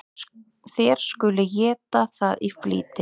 Þér skuluð eta það í flýti.